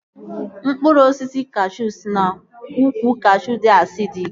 Mkpụrụ osisi kashuu si na ukwu kashuu dị asidik